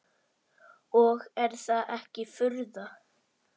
Og er það ekki furða.